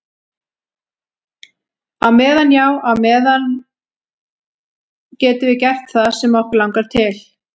Á meðan, já á meðan á meðan getum við gert það sem okkur langar til.